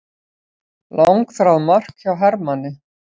Langþráð mark hjá Hermanni